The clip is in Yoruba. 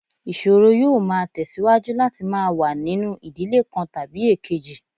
Ìṣòro yóò máa tẹ̀síwájú láti máa wà nínú ìdílé kan tàbí èkejì